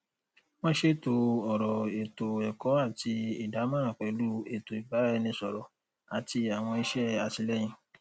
wọn ṣètò ọrọ ètò ẹkọ àti ìdámọràn pẹlú ètò ìbáraẹnisọrọ àti àwọn iṣẹ àtìlẹyìn